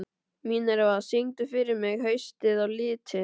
Minerva, syngdu fyrir mig „Haustið á liti“.